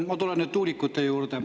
Ma tulen nüüd tuulikute juurde.